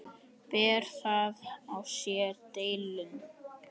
Ber það á sér delinn.